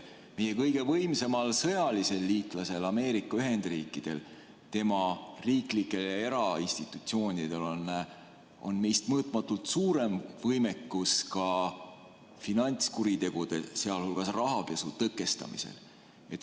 Meie kõige võimsamal sõjalisel liitlasel Ameerika Ühendriikidel, tema riiklikel ja erainstitutsioonidel on meist mõõtmatult suurem võimekus finantskuritegude, sh rahapesu tõkestamisel.